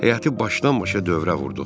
Həyəti başdan-başa dövrə vurduq.